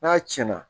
N'a tiɲɛna